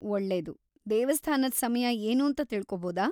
ಒಳ್ಳೇದು!‌ ದೇವಸ್ಥಾನದ್‌ ಸಮಯ ಏನೂಂತ ತಿಳ್ಕೊಬೋದಾ?